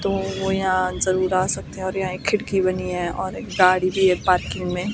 तो यहाँ जरूर आ सकते है और यहाँ एक खिड़की बनी है और एक गाड़ी भी है पार्किंग मे --